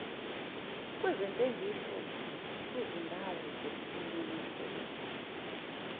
kwezentengiso kwizindawo zokunonisela